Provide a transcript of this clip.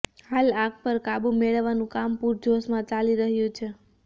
હાલ આગ પર કાબુ મેળવવાનું કામ પુરજોશમાં ચાલી રહ્યું છે